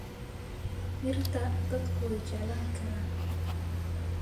Dhirta dadku way jeclaan karaan.